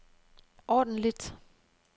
ordentligt